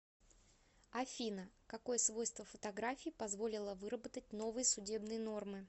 афина какое свойство фотографии позволило выработать новые судебные нормы